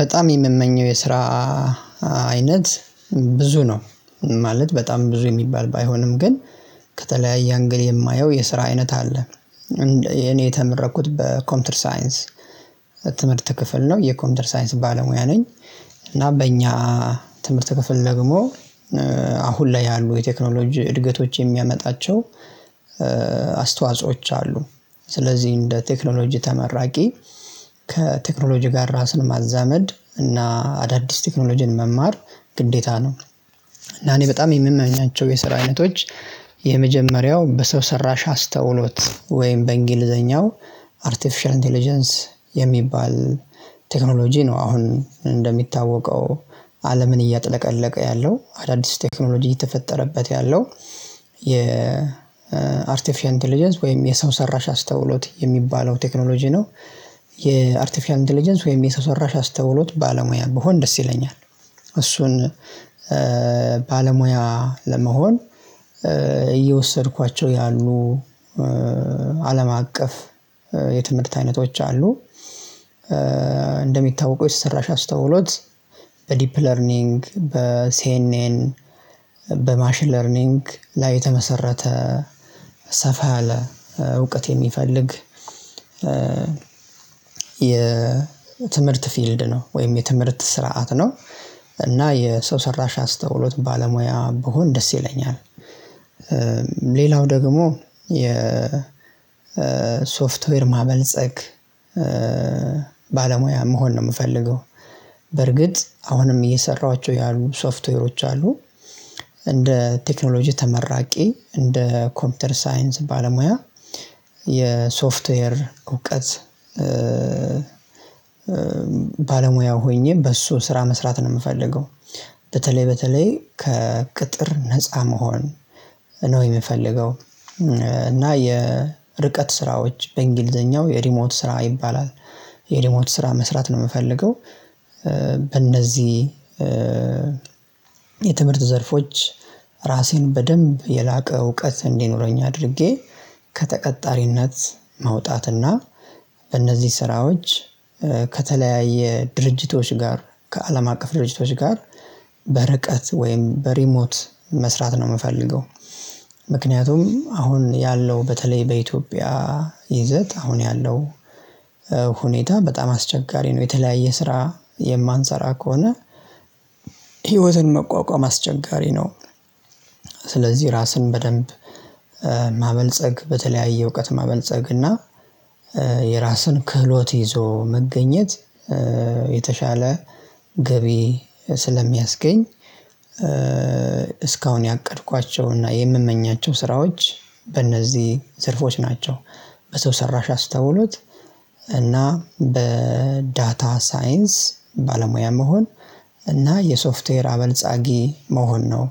በጣም የምመኘው የስራ አይነት ብዙ ነው ማለት በጣም ብዙ የሚባል ባይሆንም ግን ከተለያየ አንግል የማየው የስራ አይነት አለ። እኔ የተመረኩት በኮምፒውተር ሳይንስ ትምህርት ክፍል ነው የኮምፒውተር ሳይንስ ባለሙያ ነኝ። እና በእኛ ትምህርት ከፍል ደግሞ አሁን ላይ ያሉ የቴክኖሎጂ እድገቶች የሚያመጣቸው አስተዋጾዎች አሉ። ስለዚህ እንደ ቴክኖሎጂ ተመራቂ ከቴክኖሎጂ ጋር ራስን ማዛመድ እና አዳዲስ ቴክኖሎጂን መማር ግዴታ ነው። እና እኔ በጣም የምመኛቸው የስራ አይነቶች የመጀመሪያው በሰው ሰራሽ አስተውሎት ወይም በእንግሊዘኛው አርቲፊሻል ኢንተለጀንስ የሚባል ቴክኖሎጂ ነው። አሁን እንደሚታወቀው አለምን እያጥለቀለቀ ያለው አዳዲስ ቴክኖሎጂ የተፈጠረበት ያለው የ አርቲፊሻል ኢንተለጀንስ ወይም የሰው ሰራሽ አስተውሎት የሚባለው ቴክኖሎጂ ነው። የአርቲፊሻል ኢንተለጀንስ ወይም የሰው ሰራሽ አስተውሎት ባለሙያ ብሆን ደስ ይለኛል። እሱን ባለሙያ ለመሆን እየወሰድኳቸው ያሉ አለም አቀፍ የትምህርት አይነቶች አሉ። እንደሚታወቁ የሰውሰራሽ አስተውሎት በዲፕ ለርኒንግ በሴኔን በማሽን ለርኒንግ ላይ የተመሰረተ ሰፋ ያለ እውቀት የሚፈልግ የትምህርት ፊልድ ነው ወይም የትምህርት ስርዓት ነው እና የሰው ሰራሽ አስተውሎት ባለሙያ ብሆን ደስ ይለኛል። ሌላው ደግሞ የ ሶፍትዌር ማበልጸግ ባለሙያ መሆን ነው። ምፈልገው በርግጥ አሁንም እየሰራኋቸው ያሉ ሶፍትዌሮች አሉ። እንደ ቴክኖሎጂ ተመራቂ እንደ ኮምፒውተር ሳይንስ ባለሙያ የሶፍትዌር እውቀት ባለሙያ ሆኜ በሱ ስራ መስራት ነው የምፈልገው። በተለይ በተለይ ከቅጥር ነፃ መሆን ነው የምፈልገው። እና የርቀት ስራዎች በእንግሊዘኛው የሪሞት ስራ ይባላል። የሪሞት ስራ መስራት ነው የምፈልገው። በእነዚህ የትምርት ዘርፎች ራሴን በደንብ የላቀ እውቀት እንዲኖረኝ አድርጌ ከተቀጣሪነት መውጣትና በእነዚህ ስራዎች ከተለያየ ድርጅቶች ጋር ከአለም አቀፍ ድርጅቶች ጋር በርቀት ወይም በሪሞት መስራት ነው የምፈልገው። ምክንያቱም አሁን ያለው በተለይ በኢትዮጵያ ይዘት አሁን ያለው ሁኔታ በጣም አስቸጋሪ ነው። የተለያየ ስራ የማንሰራ ከሆነ ህይወትን መቋቋም አስቸጋሪ ነው። ስለዚህ ራስን በደንብ ማበልጸግ በተለያየ እውቀት መበልጸግ እና የራስን ክህሎት ይዞ መገኘት የተሻለ ገቢ ስለሚያስገኝ እስካሁን ያቀድኳቸውና የምመኛቸው ስራዎች በእነዚህ ዘርፎች ናቸው። በሰው ሰራሽ አስተውሎት በዳታ ሳይንስ ባለሙያ መሆን እና የሶፍትዌር አበልጻጊ መሆን ነው።